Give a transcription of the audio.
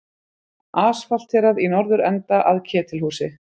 Asfalterað í norðurenda að Ketilhúsi.